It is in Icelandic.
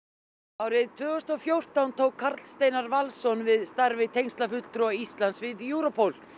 árið tvö þúsund og fjórtán tók Karl Steinar Valsson við starfi Íslands við Europol